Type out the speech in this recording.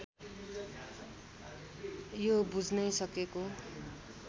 यो बुझ्नै सकेको